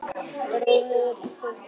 Rottugangur í þotu